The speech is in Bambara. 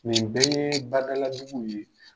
Nin bɛɛ ye badaladuguw ye.